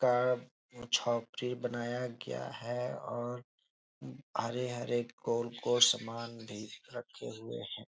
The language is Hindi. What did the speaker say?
का झोपरी बनाया गया है और हरे-हरे कोल को समान भी रखे हुए हैं।